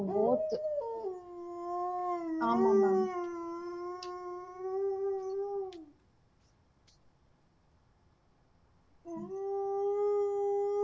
so எல்லாமே two hundred கிட்டதா வருது. சரி okay பாப்போம். so எது best அஹ் இருக்கும் உங்களோட எதாச்சும் opinion இருக்கா எனக்கு வந்து dinner க்கு